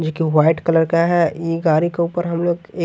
एक white colour का है ई गाड़ी के ऊपर हम लोग--